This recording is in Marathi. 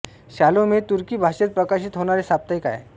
शालोम हे तुर्की भाषेत प्रकाशित होणारे साप्ताहिक आहे